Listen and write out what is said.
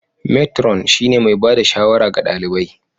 Matron shine mai ba da shawara ga ɗalibai